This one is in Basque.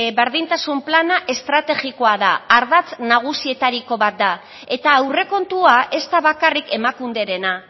berdintasun plana estrategikoa da ardatz nagusietariko bat da eta aurrekontua ez da bakarrik emakunderena